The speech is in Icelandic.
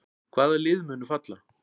Hvaða lið munu falla?